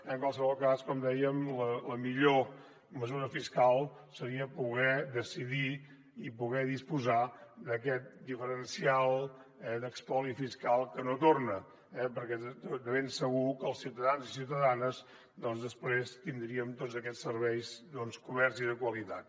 en qualsevol cas com dèiem la millor mesura fiscal seria poder decidir i poder disposar d’aquest diferencial d’espoli fiscal que no torna eh perquè de ben segur que els ciutadans i ciutadanes després tindríem tots aquests serveis coberts i de qualitat